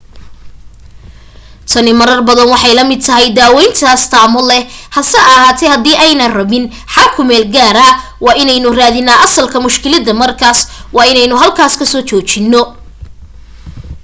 tani marar badan waxay la mid tahay daawayn astaamo leh hase ahaatee hadii aynaan rabin xal ku meelgaara waa inaynu raadinaa asalka mushkiladda markaas waana inaynu halkaas ka soo joojino